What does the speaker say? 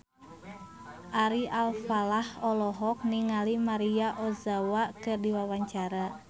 Ari Alfalah olohok ningali Maria Ozawa keur diwawancara